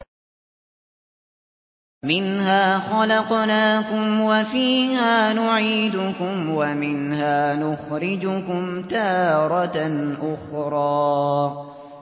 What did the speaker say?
۞ مِنْهَا خَلَقْنَاكُمْ وَفِيهَا نُعِيدُكُمْ وَمِنْهَا نُخْرِجُكُمْ تَارَةً أُخْرَىٰ